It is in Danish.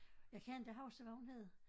Jeg kan ikke huske hvad hun hed